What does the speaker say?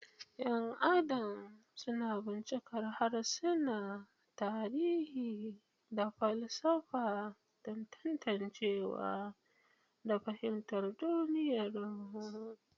’Yan Adam suna bincikar harsuna, tarihi, da falsafa don tantancewa da fahimtar duniyarmu.